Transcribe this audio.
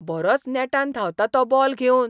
बरोच नेटान धांवता तो बॉल घेवन!